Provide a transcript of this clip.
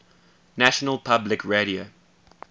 national public radio